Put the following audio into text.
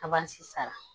Kaban si sara